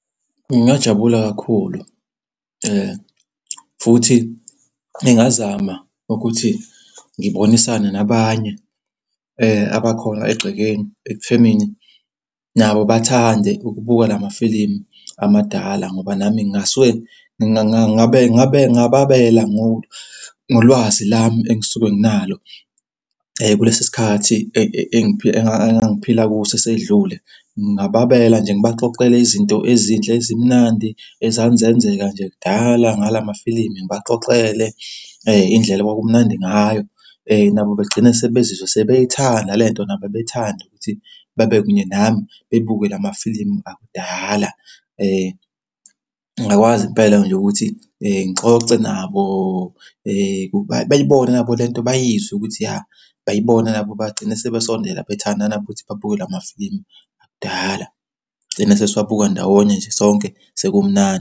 Ngingajabula kakhulu futhi ngingazama ukuthi ngibonisane nabanye abakhona egcekeni ekuthenini nabo bathande ukubuka amafilimu amadala ngoba nami ngingasuke ngingababela ngolwazi lami engisuke nginalo kulesi sikhathi engangiphila kuso esedlule. Ngingababela nje ngibaxoxele izinto ezinhle ezimnandi ezanzenzeka nje kudala ngala mafilimu. Ngibaxoxele indlela okwakumnandi ngayo. Nabo begcine sebezizwa sebethanda le nto, nabo bethande ukuthi babe kunye nami bebuke la mafilimu akudala. Ngingakwazi impela nje ukuthi ngixoxe nabo, bayibone nabo le nto bayizwe ukuthi ya bayibone nabo bagcine sebesondela bethanda nabo ukuthi babuke la amafilimu akudala sigcine sesiwabuka ndawonye nje sonke sekumnandi.